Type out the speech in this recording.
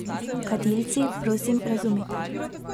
Kadilci, prosim razumite.